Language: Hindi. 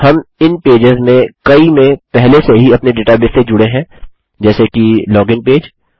हम इन पेजेस में कई में पहले से ही अपने डेटाबेस से जुड़े हैं जैसे कि लॉगिन पेज